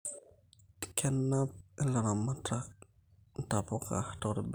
Kenap ilaramatak intapuka toorbenia